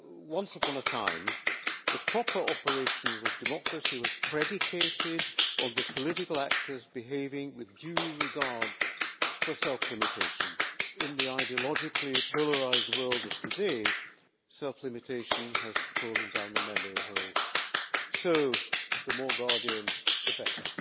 Once upon a time, the proper operation was democracy, which was predicated on the political actors behaving with due regard for self limitation. In the ideologically polarised world of today, self limitation has fallen down the memory hole. So, the more guardians, the better.